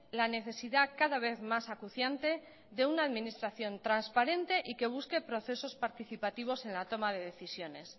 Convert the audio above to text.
la necesidad cada vez más acuciante de una administración transparente y que busque procesos participativos en la toma de decisiones